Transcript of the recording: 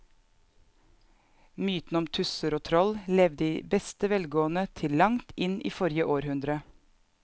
Mytene om tusser og troll levde i beste velgående til langt inn i forrige århundre.